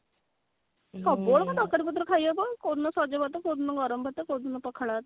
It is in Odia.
ତରକାରୀ ପତ୍ର ଖାଇବାକୁ କୋଉଦିନ ସଜ ଭାତ କୋଉଦିନ ଗରମ ଭାତ କୋଉଦିନ ପଖାଳ ଭାତ